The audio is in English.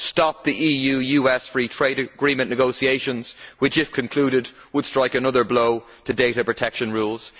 Stop the EU US Free Trade Agreement negotiations, which, if concluded, would strike another blow to data protection rules.